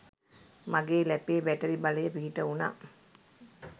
මගේ ලැපේ බැටරි බලය පිහිට වුණා